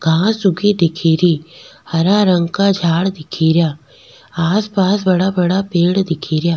घांस उगी दिखेरी हरा रंग का झाड़ दिखेरा आसपास बड़ा बड़ा पेड़ दिखेरा।